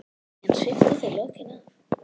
Síðan sviptu þau lokinu af.